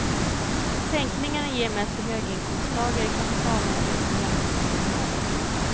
Sänkningarna ger mest till höginkomsttagare, kapitalägare och förmögenhetsinnehavare.